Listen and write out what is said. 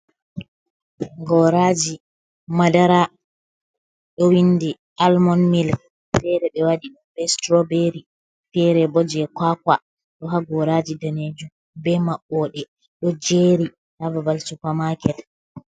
Goraji madara ɗo windi almon mil fere ɓe waɗi ɓe stroberi fere bo je kakwa do ha goraji danejum be maɓɓode ɗo jeri ha babal supa maket.